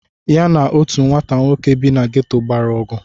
Ya na otu nwata nwoke bi na gétò gbara ọgụ